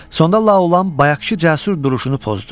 Sonda Laolan bayaqkı cəsur duruşunu pozdu.